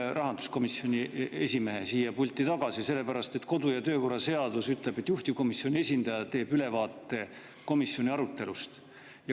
Jah, rahanduskomisjoni esimehe siia pulti tagasi, sellepärast et kodu- ja töökorra seadus ütleb, et juhtivkomisjoni esindaja teeb ülevaate komisjoni arutelust.